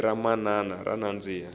ririmi ra manana ra nandzika